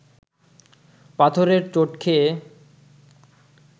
পাথরের চোট খেয়ে